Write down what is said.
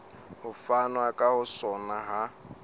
ho fanwa ka sona ha